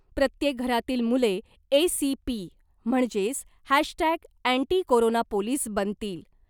प्रत्येक घरातील मुले ए सी पी म्हणजेच hash tag anti corona police बनतील .